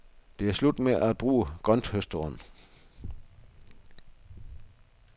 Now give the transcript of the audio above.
Det er slut med at bruge grønthøsteren.